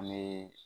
An bɛ